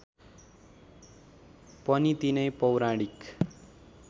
पनि तिनै पौराणिक